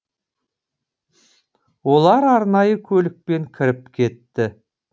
олар арнайы көлікпен кіріп кетті